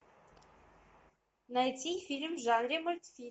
найти фильм в жанре мультфильм